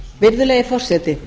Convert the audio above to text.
virðulegi forseti